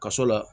Ka sɔrɔ